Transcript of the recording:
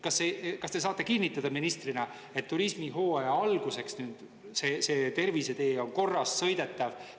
Kas te saate kinnitada ministrina, et turismihooaja alguseks tervisetee on korras ja sõidetav?